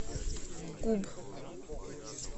куб